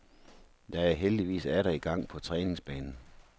Jeg er heldigvis atter i gang på træningsbanen.